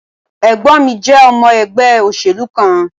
Ẹ̀gbọ́n mi jẹ́ ọmọ ẹgbẹ́ òṣèlú kan